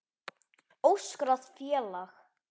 Óskráð félag.